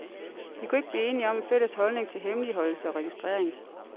De kunne ikke blive enige om en fælles holdning til hemmeligholdelse og registrering.